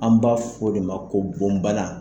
An b'a fɔ o de ma ko bɔnbana